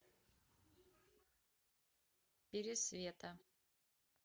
пересвета